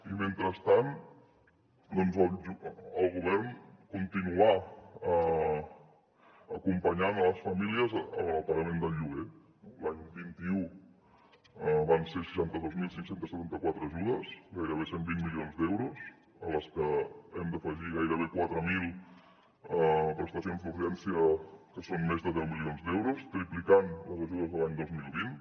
i mentrestant doncs el govern continuar acompanyant les famílies en el pagament del lloguer no l’any vint un van ser seixanta dos mil cinc cents i setanta quatre ajudes gairebé cent i vint milions d’euros a les que hem d’afegir gairebé quatre mil prestacions d’urgència que són més de deu milions d’euros triplicant les ajudes de l’any dos mil vint